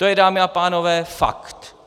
To je, dámy a pánové, fakt.